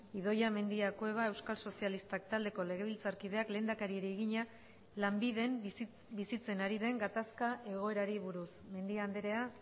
idoia mendia cueva euskal sozialistak taldeko legebiltzarkideak lehendakariari egina lanbiden bizitzen ari den gatazka egoerari buruz mendia andrea